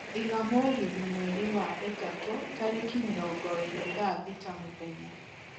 iga mũgithi mweri wa ĩtatu tarĩki mĩrongo iĩri thaa thĩta mũthenya